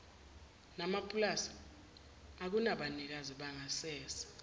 namapulazi okunabanikazi bangasese